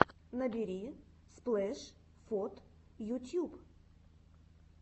набери сплэш вот ютьюб